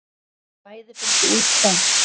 Bæði fengu út tromp.